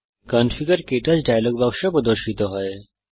configure KTouch dialog বাক্স প্রদর্শিত হয়